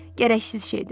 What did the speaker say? Gərəksiz şeydir.